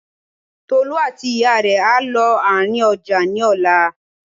Tolú àti ìyá rẹ̀ á lọ àárín ọjà ní ọ̀la